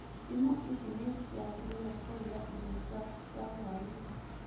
Ndimũ ici nĩ ciagĩrĩire kũruga irio ciaku cia hũainĩ.